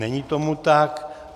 Není tomu tak.